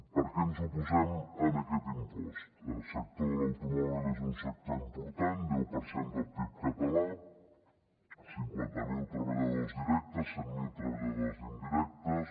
per què ens oposem a aquest impost el sector de l’automòbil és un sector important deu per cent del pib català cinquanta mil treballadors directes cent mil treballadors indirectes